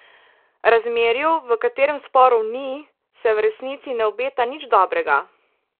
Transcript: Razmerju, v katerem sporov ni, se v resnici ne obeta nič dobrega.